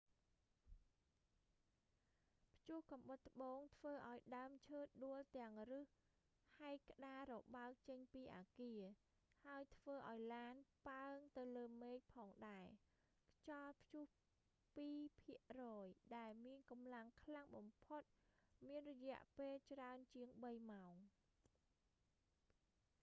ព្យុះកំបុតត្បូងធ្វើឱ្យដើមឈើដួលទាំងឫសហែកក្តាររបើកចេញពីអាគារ ហើយធ្វើឱ្យឡានប៉ើងទៅលើមេឃផងដែរ ខ្យល់ព្យុះពីរភាគរយដែលមានកម្លាំងខ្លាំងបំផុតមានរយៈពេលច្រើនជាងបីម៉ោង